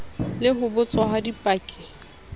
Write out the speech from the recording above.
le ho botswa ha dipaki